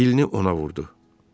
Dilini ona vurdu.